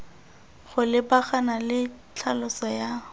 go lebagana le tlhaloso ya